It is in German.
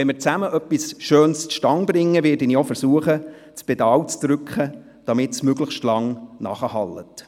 Wenn wir gemeinsam etwas Schönes zustande bringen, werde ich das Pedal zu drücken versuchen, damit es möglichst lange nachhallt.